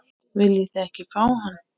Viljið þið ekki fá hann?